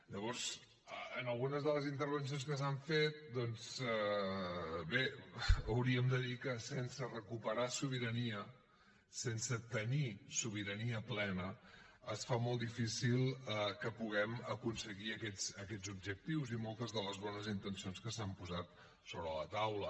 llavors en algunes de les intervencions que s’han fet doncs bé hauríem de dir que sense recuperar sobirania sense tenir sobirania plena es fa molt difícil que puguem aconseguir aquests objectius i moltes de les bones intencions que s’han posat sobre la taula